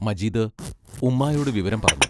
മജീദ് ഉമ്മായോടു വിവരം പറഞ്ഞു.